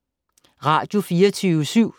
Radio24syv